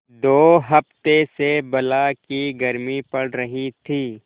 दो हफ्ते से बला की गर्मी पड़ रही थी